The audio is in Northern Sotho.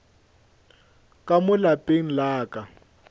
ka mo lapeng la ka